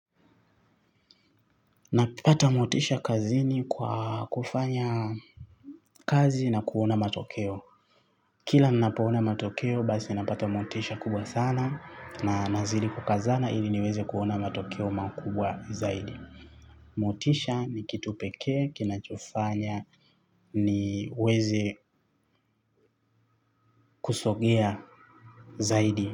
Napata motisha kazini kwa kufanya kazi na kuona matokeo. Kila ninapoona matokeo basi napata motisha kubwa sana na nazidi kukazana ili niweze kuona matokeo makubwa zaidi. Motisha ni kitu pekee, kinachofanya niweze kusogea zaidi.